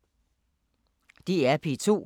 DR P2